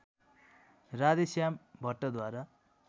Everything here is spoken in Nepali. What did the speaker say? राधेश्याम भट्टद्वारा